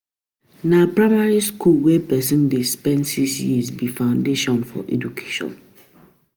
Na primary skool wey pesin dey spend six years be foundation for educattion.